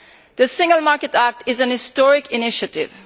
The Single Market Act is an historic initiative.